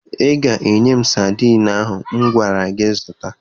Ị ga-enye m sadiin ahụ m gwara gị zụta